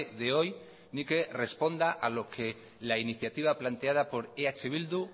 de hoy ni que responda a lo que la iniciativa planteada por eh bildu